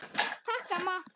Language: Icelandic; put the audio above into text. Takk amma.